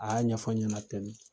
A y'a ɲɛfɔ ɲɛna tɛn de.